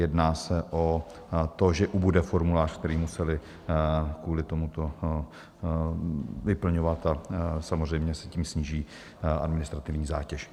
Jedná se o to, že ubude formuláře, který museli kvůli tomuto vyplňovat, a samozřejmě se tím sníží administrativní zátěž.